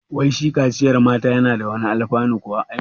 Wai shi kaciyar mata na da wani alfanu kuwa?